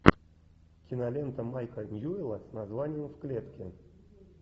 кинолента майка ньюэлла с названием в клетке